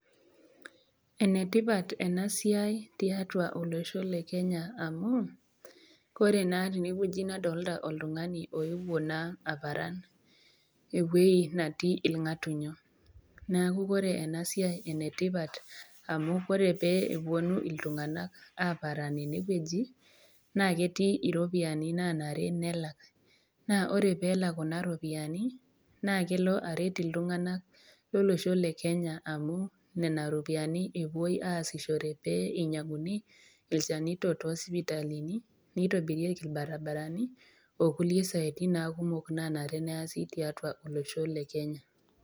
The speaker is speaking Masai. Ene tipat ena siai tiatua olosho le Kenya amu, ore naa tene wueji nadolita oltung'ani oewuo naa aparan ewueji natii ilg'atunyo, neaku ore ena siai naa enetipat amu ore pee epuonu iltung'ana aaparan enewueji, naa ketii iropiani naanare peelak, naa ore pee elak Kuna ropiani naakelo aret iltung'ana lolosho le Kenya amu nena ropiani epuoi aasishore pee einyang'uni ilchanito too isipitalini, neitobirieki ilbaribarani, o kulie siaitin naa kumok naanare peasi tiatua olosho le Kenya.